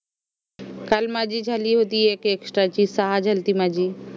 काल माझी झाली होती एक extra ची सहा झाली माझी